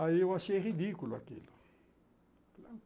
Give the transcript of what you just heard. Aí eu achei ridículo aquilo.